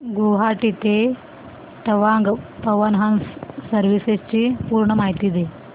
गुवाहाटी ते तवांग पवन हंस सर्विसेस ची पूर्ण माहिती